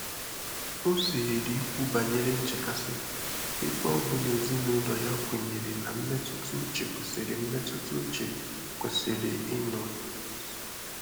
Ọ́ zèèrè ìkwú bànyèrè nchékàsị́ ébé ọ bụ́ nà èzínụ́lọ yá kwènyèrè nà mmétụ́tà úchè kwèsị́rị̀ mmétụ́tà úchè kwèsị́rị̀ ị́nọ nà-ézò.